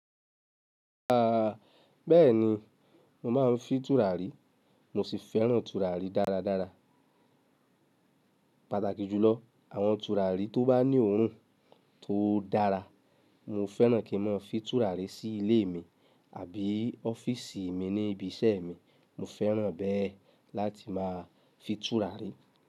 Aaa bẹ́ẹ̀ni, mo máa ń fi tùràrí, mo sì fẹ́ràn tùràrí dáradára. Pátàkì jùlọ, àwọn tùràrí tó bá ní òhún tó dára. Mo fẹ́ràn kí mo fi tùràrí sí ilé mi àbí ọ́fíìsì mi ní ibi iṣẹ́ mi, mo fẹ́ràn bẹ́ẹ̀ láti máa fi tùràrí.